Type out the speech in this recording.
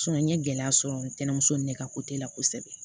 n ye gɛlɛya sɔrɔ n tɛmuso in ne ka la kosɛbɛ